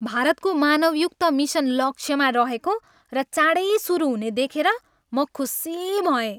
भारतको मानवयुक्त मिसन लक्ष्यमा रहेको र चाँडै सुरु हुने देखेर म खुसी भएँ।